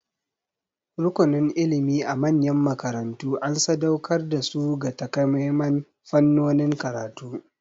Rukunin ilimi a manyan makarantu an sadauƙar da su ga takamaiman fannonin karatu.